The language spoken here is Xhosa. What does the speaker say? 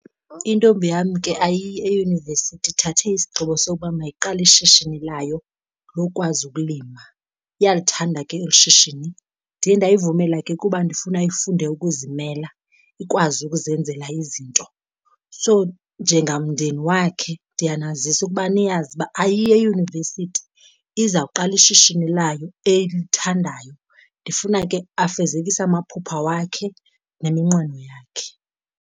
Intombi yam ke ayiyi eyunivesithi, ithathe isigqibo sokuba mayiqale ishishini layo lokwazi ukulima. Iyalithanda ke eli shishini. Ndiye ndayivumela ke kuba ndifuna ifunde ukuzimela, ikwazi ukuzenzela izinto. So njengamndeni wakhe ndiyanazisa ukuba niyazi uba ayiyi eyunivesithi izawuqala ishishini layo elithandayo. Ndifuna ke afezekise amaphupha wakhe neminqweno yakhe.